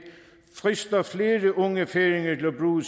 frister flere unge færinger